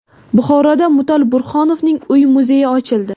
Buxoroda Mutal Burhonovning uy-muzeyi ochildi.